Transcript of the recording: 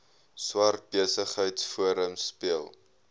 swart besigheidsforum speel